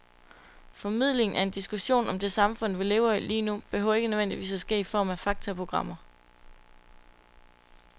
Formidlingen af en diskussion om det samfund, vi lever i lige nu, behøver ikke nødvendigvis at ske i form af faktaprogrammer.